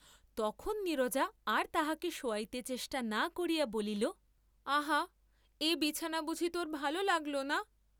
তখন নীরজা আর তাহাকে শোয়াইতে চেষ্টা না করিয়া বলিল, আহা এ বিছানা বুঝি তোর ভাল লাগলো না?